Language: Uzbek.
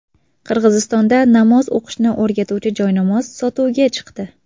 Qirg‘izistonda namoz o‘qishni o‘rgatuvchi joynamoz sotuvga chiqdi.